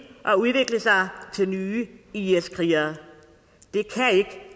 og udvikle sig til nye is krigere